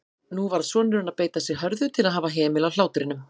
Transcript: Nú varð sonurinn að beita sig hörðu til að hafa hemil á hlátrinum.